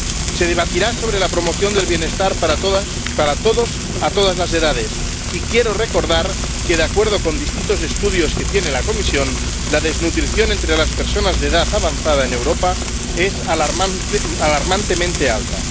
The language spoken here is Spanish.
Se debatirá sobre la promoción del bienestar para todas, para todos, a todas las edades, y quiero recordar que, de acuerdo con distintos estudios que tiene la Comisión, la desnutrición entre las personas de edad avanzada en Europa es alarmantemente alta.